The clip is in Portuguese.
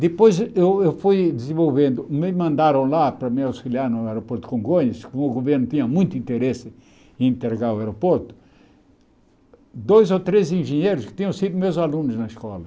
Depois eu eu fui desenvolvendo, me mandaram lá para me auxiliar no aeroporto Congonhas, como o governo tinha muito interesse em entregar o aeroporto, dois ou três engenheiros que tinham sido meus alunos na escola.